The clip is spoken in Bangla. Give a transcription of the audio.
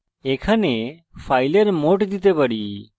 এখানে file mode দিতে পারি